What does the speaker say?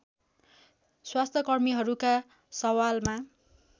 स्वास्थ्यकर्मीहरूका सवालमा